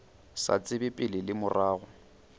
sa tsebe pele le morago